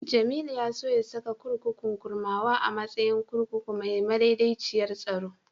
Jamilu ya so saka kurkukun Kurmawa a matsayin kurkuku mai madaidaiciyar tsaro.